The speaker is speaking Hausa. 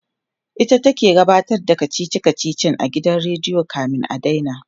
ita ke ta gabatar da kachichi kachichin a gidan rediyo kamin a daina